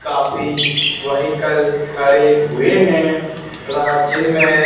काफी वहीकल खड़े हुए हैं रा जिनमें--